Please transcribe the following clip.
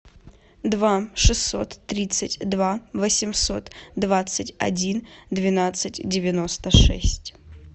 два шестьсот тридцать два восемьсот двадцать один двенадцать девяносто шесть